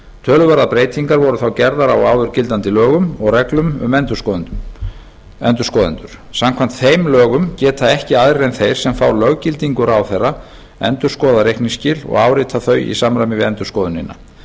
töluverðar breytingar voru þá gerðar á áður gildandi lögum og reglum um endurskoðendur samkvæmt þeim lögum geta ekki aðrir en þeir sem fá löggildingu ráðherra endurskoðað reikningsskil og áritað þau í samræmi við endurskoðunina